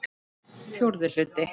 Fjórði hluti